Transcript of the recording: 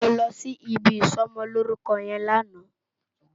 Mó lòsí ibi isòmòlórúkò yèn làná